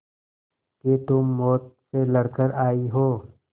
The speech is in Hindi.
कि तुम मौत से लड़कर आयी हो